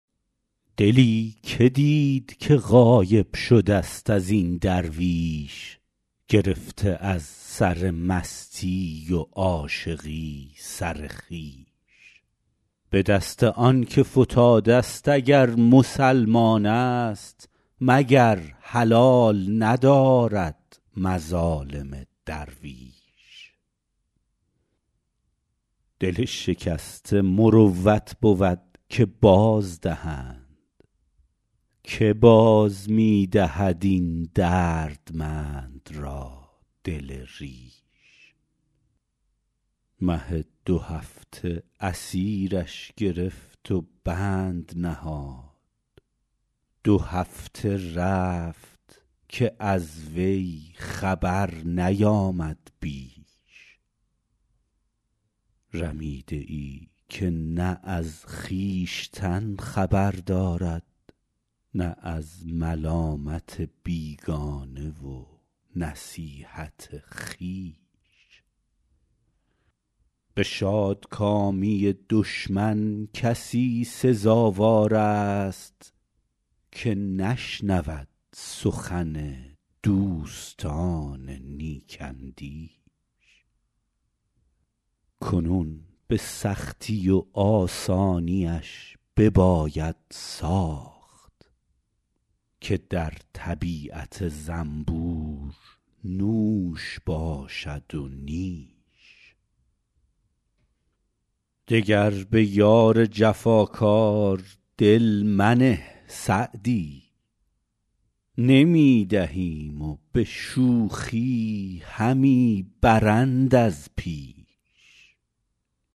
دلی که دید که غایب شده ست از این درویش گرفته از سر مستی و عاشقی سر خویش به دست آن که فتاده ست اگر مسلمان است مگر حلال ندارد مظالم درویش دل شکسته مروت بود که بازدهند که باز می دهد این دردمند را دل ریش مه دوهفته اسیرش گرفت و بند نهاد دو هفته رفت که از وی خبر نیامد بیش رمیده ای که نه از خویشتن خبر دارد نه از ملامت بیگانه و نصیحت خویش به شادکامی دشمن کسی سزاوار است که نشنود سخن دوستان نیک اندیش کنون به سختی و آسانیش بباید ساخت که در طبیعت زنبور نوش باشد و نیش دگر به یار جفاکار دل منه سعدی نمی دهیم و به شوخی همی برند از پیش